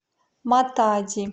матади